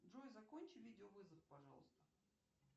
джой закончи видеовызов пожалуйста